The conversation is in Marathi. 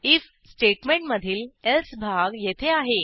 आयएफ स्टेटमेंट मधील एल्से भाग येथे आहे